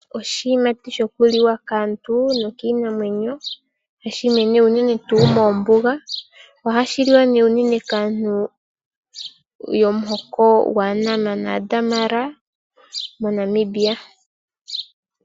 Oshiyimati shokuliwa kaantu nokiinamwenyo , hashi mene unene tuu moombuga. Ohashi liwa nee unene kaantu yomuhoko gwaaNama naaDamara moNamibia.